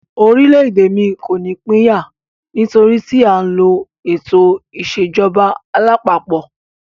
Orílẹ̀-èdè mí kò ní pín yà, nítorí tí a ń lo ètò ìṣèjọba alápapọ̀.